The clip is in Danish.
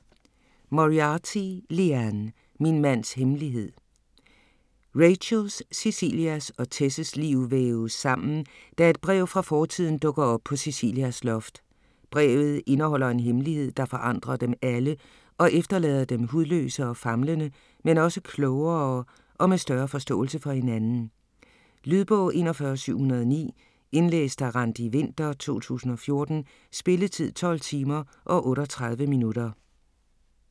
Moriarty, Liane: Min mands hemmelighed Rachels, Cecilias og Tess's liv væves sammen, da et brev fra fortiden dukker op på Cecilias loft. Brevet indeholder en hemmelighed, der forandrer dem alle og efterlader dem hudløse og famlende, men også klogere og med større forståelse for hinanden. Lydbog 41709 Indlæst af Randi Winther, 2014. Spilletid: 12 timer, 38 minutter.